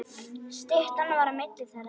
Styttan var á milli þeirra.